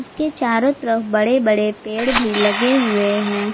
के चारों तरफ बड़े बड़े पेड़ भी लगे हुए हैं।